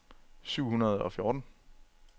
syv hundrede og fjorten